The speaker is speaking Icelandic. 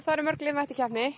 eru mörg lið mætt til keppni